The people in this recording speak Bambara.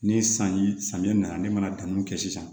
Ni sanji samiya nana ne mana danni kɛ sisan